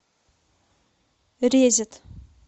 резет